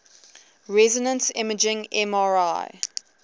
resonance imaging mri